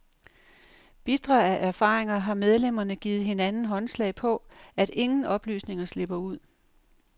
Bitre af erfaringer har medlemmerne givet hinanden håndslag på, at ingen oplysninger slipper ud.